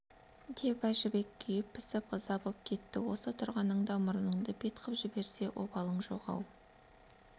деп әжібек күйіп-пісіп ыза боп кетті осы тұрғаныңда мұрныңды бет қып жіберсе обалың жоқ-ау